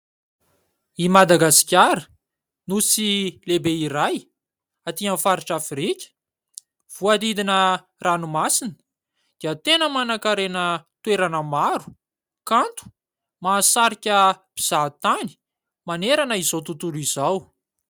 I Madagasikara, nosy lehibe iray aty aminy faritra Afrika, voadidina ranomasina dia tena manankarena toerana maro, kanto, mahasarika mpizahatany manerana izao tontolo izao.